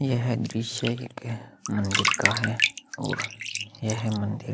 यह दृश्य एक मंदिर का है और यह मंदिर ।